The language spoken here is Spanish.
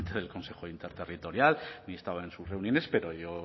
del consejo interterritorial ni he estado en sus reuniones pero yo